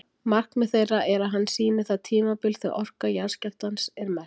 Markmið þeirra er að hann sýni það tímabil þegar orka jarðskjálftans er mest.